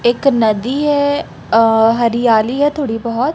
एक नदी है अ हरियाली है थोड़ी बहोत--